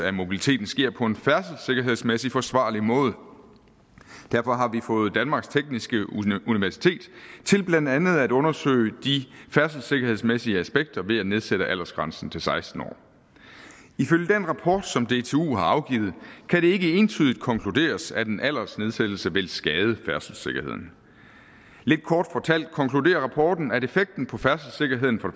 af mobiliteten sker på en færdselssikkerhedsmæssigt forsvarlig måde derfor har vi fået danmarks tekniske universitet til blandt andet at undersøge de færdselssikkerhedsmæssige aspekter ved at nedsætte aldersgrænsen til seksten år ifølge den rapport som dtu har afgivet kan det ikke entydigt konkluderes at en aldersnedsættelse vil skade færdselssikkerheden lidt kort fortalt konkluderer rapporten at effekten på færdselssikkerheden for